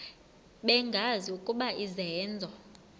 bengazi ukuba izenzo